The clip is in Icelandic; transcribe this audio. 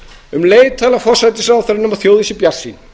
um leið talar forsætisráðherrann um að þjóðin sé bjartsýn